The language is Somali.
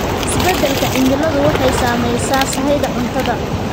Isbeddelka cimiladu waxay saamaysaa sahayda cuntada.